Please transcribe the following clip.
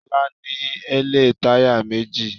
Lọ́la ní èlé táyà méjì.